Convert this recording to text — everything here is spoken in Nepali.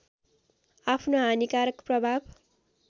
आफ्नो हानिकारक प्रभाव